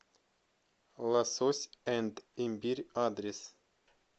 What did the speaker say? лосось энд имбирь адрес